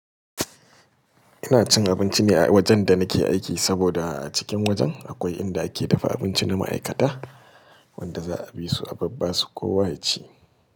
Ina cin abinci ne a wajen da nake aiki saboda a cikin wajen akwai inda ake dafa abinci na ma'aikata wanda za a bi su a ba ba su kowa ya ci.